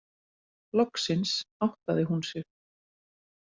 Loksins áttaði hún sig.